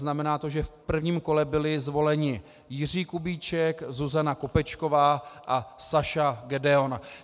Znamená to, že v prvním kole byli zvoleni Jiří Kubíček, Zuzana Kopečková a Saša Gedeon.